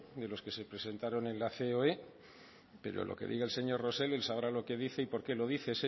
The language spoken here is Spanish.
de los que se presentaron en la ceoe pero lo que diga el señor rosell él sabrá lo que dice y porqué lo dice